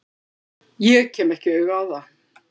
Ég kem ekki auga á það.